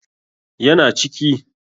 Ya na ciki.